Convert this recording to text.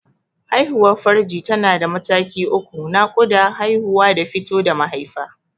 Haihuwar farji tana da mataki uku: Naƙuda, Haihuwa da fito da mahaifa.